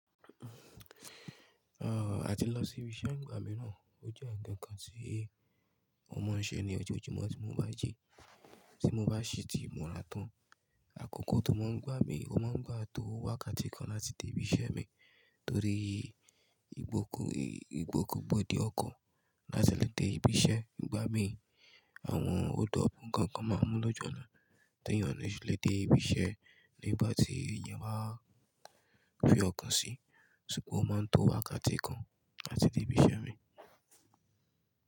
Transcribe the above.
Ah, àti lọ sí ibi iṣẹ́ ìgbà mí náà. Ó jẹ́ ǹkan kan tí ó máa ń ṣe ní ọjọ́ ojúmọ́ tí mo bá jí, tí mo bá ṣètì mọ́ra tán. Àkókò tó máa ń gbá mi, ó máa ń gbà tó wákàtí kan láti dé ibi iṣẹ́ mi torí ìgbòkègbodò ọkọ̀ láti lè dé ibi iṣẹ́ ìgbà mí. Àwọn odò ọ̀fun kan kan máa mú lọ́jọ́ náà tí ènìyàn lè ṣe lè dé ibi iṣẹ́ nígbà tí ènìyàn bá fì ọkọ̀ sí, ṣùgbọ́n ó máa ń tó wákàtí kan láti dé ibi iṣẹ́ mi.